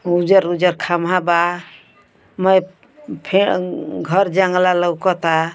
उजर उजर खंभा बा मै फे घर जांगला लउकता --